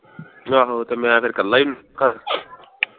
ਆਹੋ ਤੇ ਮੈਂ ਫਿਰ ਕੱਲ੍ਹਾ ਈ